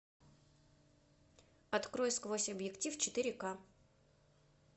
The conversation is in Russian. открой сквозь объектив четыре ка